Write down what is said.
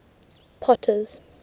potter's